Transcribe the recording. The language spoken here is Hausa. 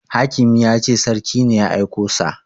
Hakimi ya ce sarki ne ya aiko sa